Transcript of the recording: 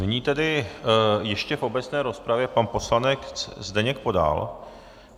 Nyní tedy ještě v obecné rozpravě pan poslanec Zdeněk Podal.